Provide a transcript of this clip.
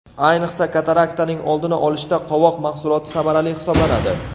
Ayniqsa, kataraktaning oldini olishda qovoq mahsuloti samarali hisoblanadi.